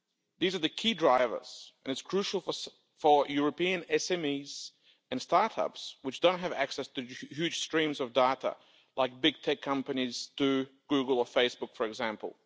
These are the key drivers, and it's crucial for European SMEs and start-ups, which don't have access to huge streams of data, like big tech companies do Google or Facebook for example.